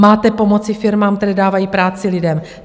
Máte pomoci firmám, které dávají práci lidem!